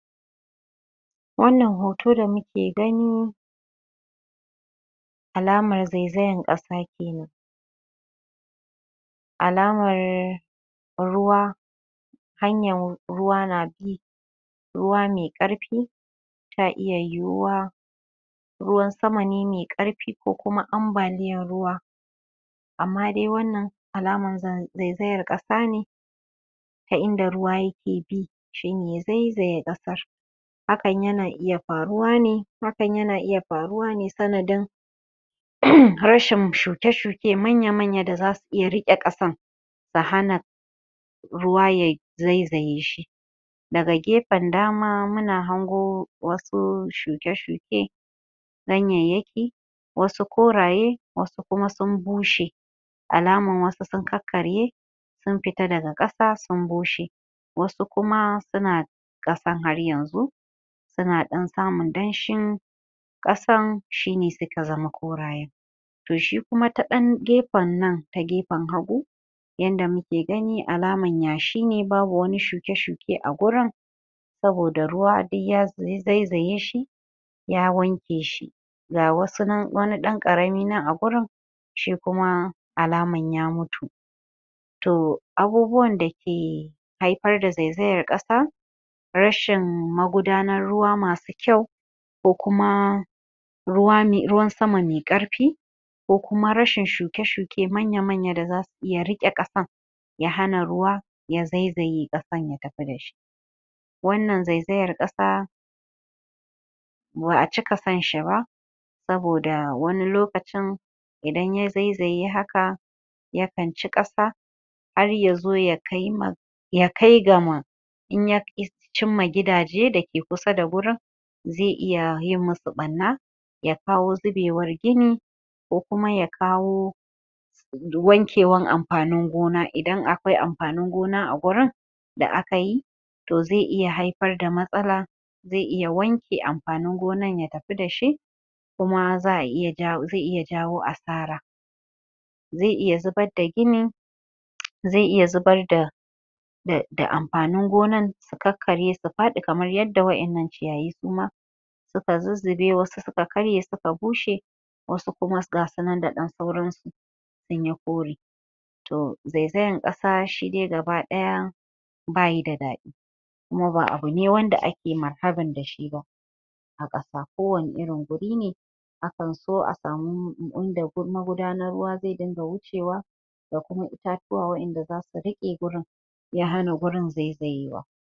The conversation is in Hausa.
Wannan hoto da muke gani alamar zaizayan ƙasa zaiyi alamar ruwa hanyan ruwa na bi ruwa mai ƙarfi ta iya yiyiwa ruwan sama ne mai ƙarfi ko kuma ambaliyan ruwa amma dai wannan alamar zaizayan ƙasa ne ta inda ruwa yake bi shi ne ya zaizaye ƙasa hakan yana iya faruwa ne hakan yana iya faruwa ne sanadin uhm rashin shuke-shuke manya da zasu iya riƙe ƙasan su hana ruwa ye zaizaye shi daga gefen dama muna hango wasu shuke-shuke ganyeyyaki wasu koraye wasu kuma sun bushe alaman wasu sun karkarye sun fita daga ƙasa sun bushe wasu kuma suna ƙasan har yanzu suna ɗan samun danshin ƙasan shi ne suka zama koraye toh shi kuma ta ɗan gefen nan ta gefan hagu yanda muke gani alaman yashi ne babu wani shuke-shu ke agurin saboda ruwa duk ya zaizaye shi ya wanke shi ga wasu nan wani ɗan ƙarami nan agurin shi kuma alaman ya mutu toh abubuwan dake haifar da zaizayan ƙasa rashin magudanar ruwa masu kyau ko kuma ruwane, ruwan sama mai ƙarfi ko kuma rashin shuke-shuke manya da zasu iya riƙe ƙasan ya hana ruwa ya zaizaye ƙasan ya tafi dashi wannan zaizayar ƙasa ba'a cika son shi ba saboda wani lokacin idan ya zaizaye haka yakan ci ƙasa har yazo ya kaima ya kai ga ma cimma gidaje dake kusa da gurin zai iya yin musu ɓarna ya kawo zubewar ginin ko kuma ya kawo wanke wan amfanin gona idan a kwai amfanin gona agurin da akayi toh zai iya haifar da matsala zai iya wanke amfanin gonan ya tafi dashi kuma za'a iya jawo zai iya jawo asara zai iya zubar da ginin zai iya zubar da da da amfanin gonan su karkarye su faɗi kamar yadda wa'innan ciyayi suma suka zuzzube wasu suka karye suka bushe wasu kuma gasu nan da ɗan sauransu sunyi kore toh zaizayan ƙasa shi dai gaba ɗaya bayi da daɗi kuma ba abune wanda ake marhaban dashi ba a ƙasa ko wani irin gurine a kan so a samu inda magudanar ruwa zai dunga wucewa da kuma itatuwa wa'inda zasu riƙe gurin ya hana gurin zaizayewa